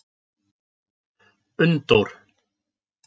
Unndór